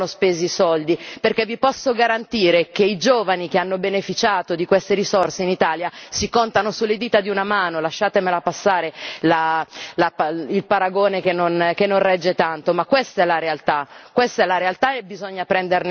controllate dove e come vengono spesi i soldi, perché vi posso garantire che i giovani che hanno beneficiato di queste risorse in Italia si contano sulle dita di una mano lasciatemi passare il paragone, che non regge tanto, ma questa è la realtà.